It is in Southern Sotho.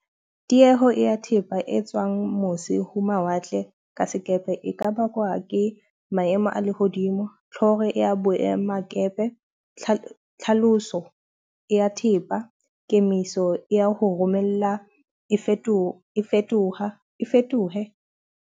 Tieho ya thepa e tswang mose ho mawatle ka sekepe e ka bakwa ke maemo a lehodimo, tjloho ya boemakepe, tlhaloso ya thepa. Kemiso ya ho romella e fetoha e fetoha e fetohe.